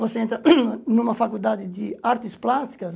Você entra em uma faculdade de artes plásticas?